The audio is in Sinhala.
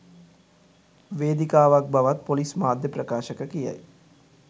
වේදිකාවක් බවත් පොලිස් මාධ්‍ය ප්‍රකාශක කියයි